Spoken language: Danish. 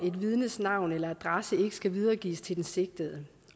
et vidnes navn eller adresse ikke skal videregives til den sigtede